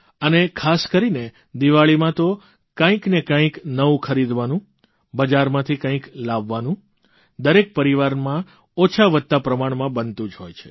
અને ખાસ કરીને દીવાળીમાં તો કંઇક ને કંઇક નવું ખરીદવાનું બજારમાંથી કંઇક લાવવાનું દરેક પરિવારમાં ઓછાવત્તા પ્રમાણમાં બનતું જ હોય છે